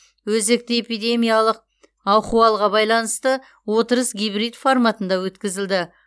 өзекті эпидемиялық ахуалға байланысты отырыс гибрид форматында өткізілді